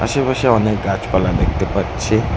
চারিপাশে অনেক গাছপালা দেখতে পাচ্ছি।